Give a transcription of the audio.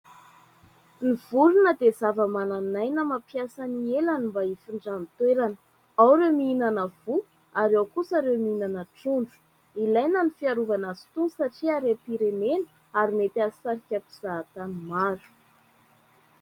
Ny vorona dia zava-manan'aina mampiasa ny elany mba hifindrany toerana; ao ireo mihinana voa ao kosa ireo mihinana trondro; ilaina ny fiarovana azy itony satria harem-pirenena ary mety ahasarika mpizahantany maro.